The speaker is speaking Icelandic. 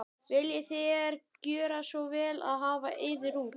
Viljið þér gjöra svo vel og hafa yður út.